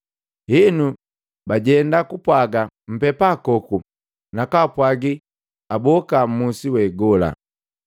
Henu, bajenda kupwaga mpepakoku na kwaapwaagi aboka mmusi we gola.